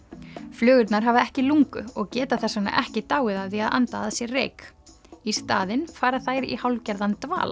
flugurnar hafa ekki lungu og geta þess vegna ekki dáið af því að anda að sér reyk í staðinn fara þær í hálfgerðan dvala